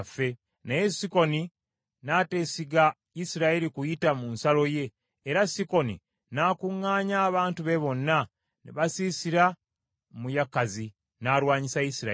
Naye Sikoni n’ateesiga Isirayiri kuyita mu nsalo ye, era Sikoni n’akuŋŋaanya abantu be bonna, ne basiisira mu Yakazi, n’alwanyisa Isirayiri.’